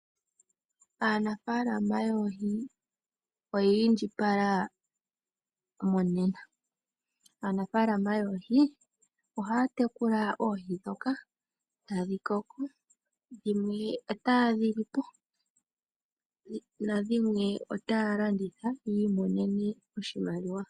Aanafaalama yoohi oya indjipala monena. Aanafaalama yoohi ohaya tekula oohi ndhoka, tadhi koko dhimwe otaye dhi li po na dhimwe otaya landitha yi imonene oshimaliwa.